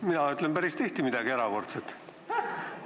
Mina ütlen päris tihti midagi erakordset.